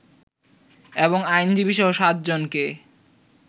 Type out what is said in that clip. এবং আইনজীবীসহ সাতজনকে